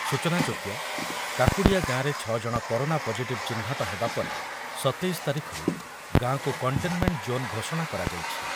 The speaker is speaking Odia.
ସୂଚନାଯୋଗ୍ୟ, କାକୁଡିଆ ଗାଁରେ ଛଅ ଜଣ କରୋନା ପଜିଟିଭ୍ ଚିହ୍ନଟ ହେବା ପରେ ଶତେଇଶ ତାରିଖରୁ ଗାଁକୁ କଣ୍ଟେନ୍ମେଣ୍ଟ୍ ଜୋନ୍ ଘୋଷଣା କରାଯାଇଛି।